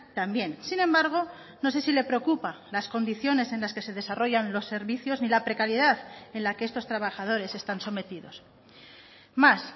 también sin embargo no sé si le preocupa las condiciones en las que se desarrollan los servicios ni la precariedad en la que estos trabajadores están sometidos más